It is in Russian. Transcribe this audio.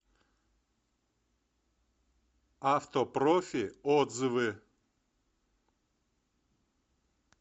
автопрофи отзывы